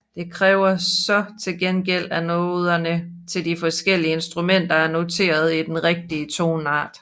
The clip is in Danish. Det kræver så til gengæld at noderne til de forskellige instrumenter er noteret i den rigtige toneart